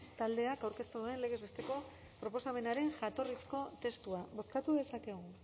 taldeak aurkeztu duen legez besteko proposamenaren jatorrizko testua bozkatu dezakegu